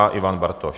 A Ivan Bartoš.